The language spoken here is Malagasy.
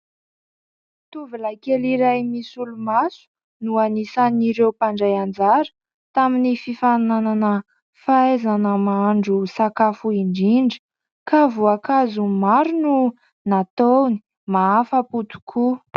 Tovolahy kely iray misolomaso no anisan'ireo mpandray anjara tamin'ny fifaninanana fahaizana mahandro sakafo indrindra, ka voankazo maro no nataony. Mahafa-po tokoa !